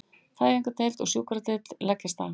Fæðingardeild og sjúkradeild leggjast af